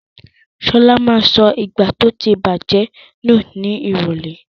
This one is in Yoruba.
Ṣọlá ma sọ ìgbá tó ti bàjẹ́ nù ní ìrọ̀lẹ́.